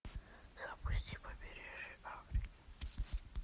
запусти побережье